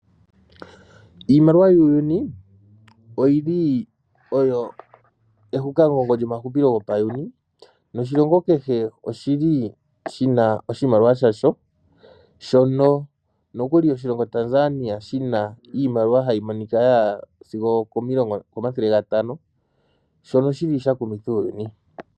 Iimaliwa muuyuni oyili oyo ehukamugongo lyomahupilo gopa yuuni, noshilongo kehe oshili shina oshimaliwa shasho shono nokuli oshilongo Tanzania shina iimaliwa hayi monika yaya sigo okomilongo, okomathele 500 shono shili shakumitha uuyuni.